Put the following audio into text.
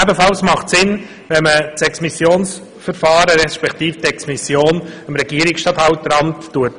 Ebenfalls sinnvoll ist es, wenn man das Exmissionsverfahren, respektive die Exmission dem Regierungsstatthalteramt anheftet.